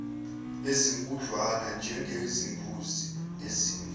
ezinkudlwana njengezimbuzi nezimvu